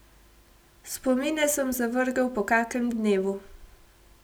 Spomine sem zavrgel po kakem dnevu.